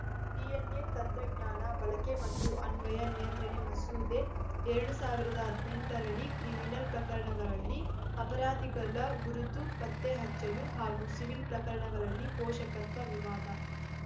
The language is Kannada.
ಡಿಎನ್‌ಎ ತಂತ್ರಜ್ಞಾನ ಬಳಕೆ ಮತ್ತು ಅನ್ವಯ ನಿಯಂತ್ರಣ ಮಸೂದೆ ಎರಡ್ ಸಾವಿರದ ಹದಿನೆಂಟರಡಿ ಕ್ರಿಮಿನಲ್‌ ಪ್ರಕರಣಗಳಲ್ಲಿ ಅಪರಾಧಿಗಳ ಗುರುತು ಪತ್ತೆ ಹಚ್ಚಲು ಹಾಗೂ ಸಿವಿಲ್‌ ಪ್ರಕರಣಗಳಲ್ಲಿ ಪೋಷಕತ್ವ ವಿವಾದ